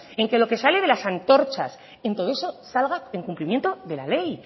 en lo que sale de las antorchas en todo eso salga en cumplimiento de la ley